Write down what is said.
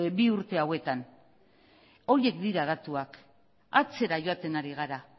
bi urte hauetan horiek dira datuak atzera joaten ari gara